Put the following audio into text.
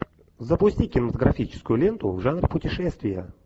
запусти кинематографическую ленту в жанре путешествия